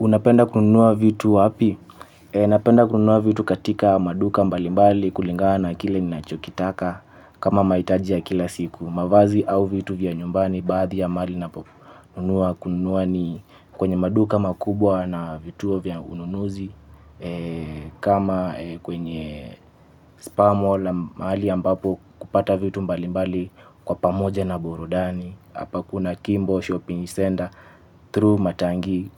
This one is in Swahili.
Unapenda kununua vitu wapi? Napenda kununua vitu katika maduka mbalimbali kulingana kile ni nachokitaka. Kama maitajia kila siku mavazi au vitu vya nyumbani baadhi ya mali napo unua kununua ni kwenye maduka makubwa na vituo vya ununuzi kama kwenye spar mall mahali ambapo kupata vitu mbalimbali kwa pamoja na burudani hapa kuna kimbo shopping center through matangii